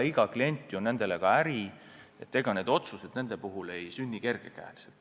Iga klient on ju nende jaoks äri, ega niisuguseid otsuseid ei langetata kerge käega.